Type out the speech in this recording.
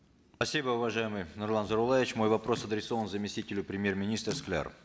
спасибо уважаемый нурлан зайроллаевич мой вопрос адресован заместителю премьер министра скляру